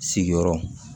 Sigiyɔrɔ